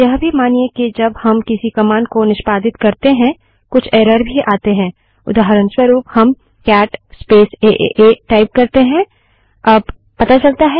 यह भी मानिए कि जब हम किसी कमांड को निष्पादित करते हैं कुछ एरर भी आते हैं उदाहऱणस्वरूप हम cat space A A A cat space A A type करते हैं और एंटर दबाते हैं